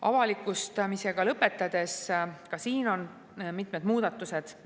Avalikustamisega lõpetades, et ka siin on mitmed muudatused.